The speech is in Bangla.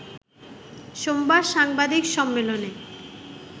সোমবার সাংবাদিক সম্মেলনে